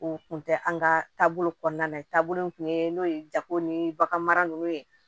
O kun tɛ an ka taabolo kɔnɔna na ye taabolo min tun ye n'o ye jago ni bagan ninnu ye